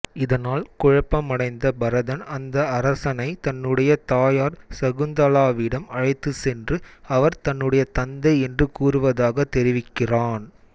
இதனால் குழப்பமடைந்த பரதன் அந்த அரசனை தன்னுடைய தாயார் சகுந்தலாவிடம் அழைத்துச்சென்று அவர் தன்னுடைய தந்தை என்று கூறுவதாக தெரிவிக்கிறான்